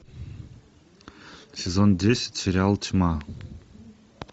сезон десять сериал тьма